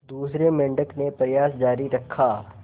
दूसरे मेंढक ने प्रयास जारी रखा